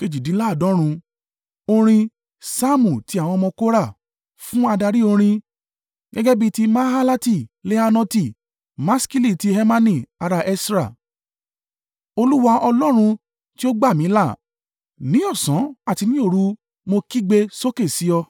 Orin. Saamu ti àwọn ọmọ Kora. Fún adarí orin. Gẹ́gẹ́ bí ti mahalati leannoti. Maskili ti Hemani ará Esra. Olúwa, Ọlọ́run tí ó gbà mí là, ní ọ̀sán àti ní òru, mo kígbe sókè sí Ọ.